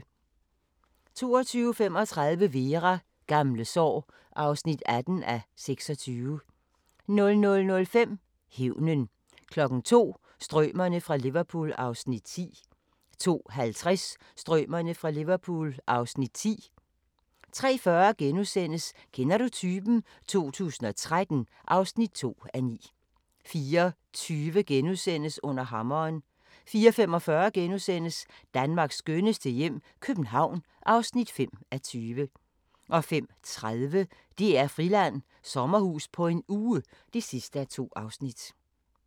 22:35: Vera: Gamle sår (18:26) 00:05: Hævnen 02:00: Strømerne fra Liverpool (Afs. 9) 02:50: Strømerne fra Liverpool (Afs. 10) 03:40: Kender du typen? 2013 (2:9)* 04:20: Under hammeren * 04:45: Danmarks skønneste hjem - København (5:20)* 05:30: DR-Friland: Sommerhus på en uge (2:2)